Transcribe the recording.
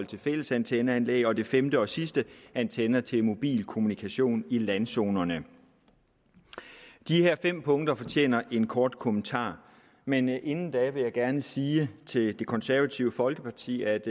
til fællesantenneanlæg og som det femte og sidste antenner til mobilkommunikation i landzonerne de her fem punkter fortjener en kort kommentar men inden da vil jeg gerne sige til det konservative folkeparti at